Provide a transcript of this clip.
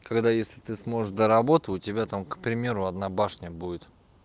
когда если ты сможешь до работы у тебя там к примеру одна башня будет